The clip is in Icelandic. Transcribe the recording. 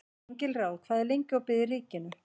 Engilráð, hvað er lengi opið í Ríkinu?